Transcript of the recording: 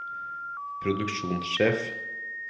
produksjonssjef